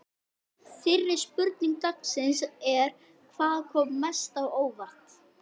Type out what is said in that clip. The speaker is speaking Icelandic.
Fyrri spurning dagsins er: Hvað kom mest á óvart?